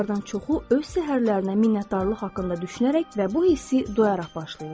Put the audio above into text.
Onlardan çoxu öz səhərlərinə minnətdarlıq haqqında düşünərək və bu hissi doyaraq başlayırlar.